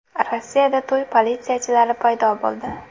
Rossiyada to‘y politsiyachilari paydo bo‘ldi.